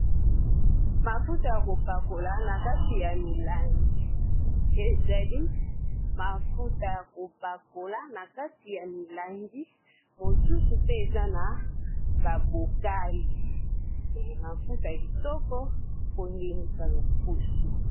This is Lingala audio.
Mafuta ya kopakola na kati ya milangi, ezali mafuta ya kopakola na kati ya milangi mosusu pe eza na ba bokali mafuta ya kitoko ko ngengisa loposo.